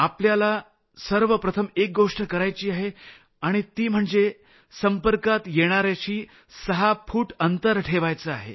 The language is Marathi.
आपल्याला सर्वप्रथम एक गोष्ट करायची आहे आणि ती म्हणजे 6 फूट अंतर ठेवायचं आहे